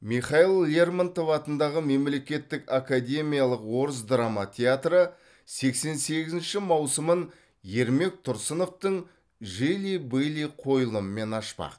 михаил лермонтов атындағы мемлекеттік академиялық орыс драма театры сексен сегізінші маусымын ермек тұрсыновтың жили были қойылымымен ашпақ